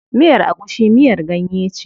Miyar agushi miyar ganye ce.